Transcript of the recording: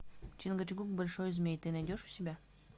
чингачгук большой змей ты найдешь у себя